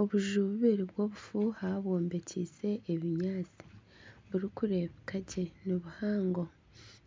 Obuju bushatu bw'obufuuha bwombekyeise ebiwempe, burikureebeka gye nibuhango,